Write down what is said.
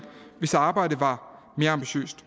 hvis arbejdet var mere ambitiøst